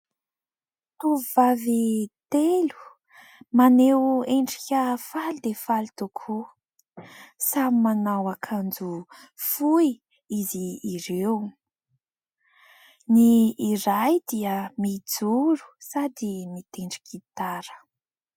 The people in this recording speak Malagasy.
Tovovavy telo maneho endrika faly dia faly tokoa, samy manao akanjo fohy izy ireo. Ny iray dia mijoro sady mitendry gitara.